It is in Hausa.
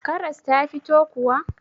Karas ta fito kuwa?